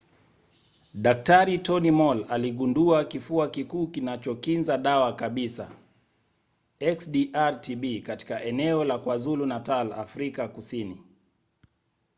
dk. tony moll aligundua kifua kikuu kinachokinza dawa kabisa xdr-tb katika eneo la kwazulu-natal afrika kusini